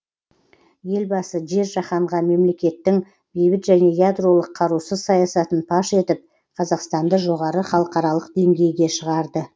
елбасы жер жаһанға мемлекеттің бейбіт және ядролық қарусыз саясатын паш етіп қазақстанды жоғары халықаралық деңгейге шығарды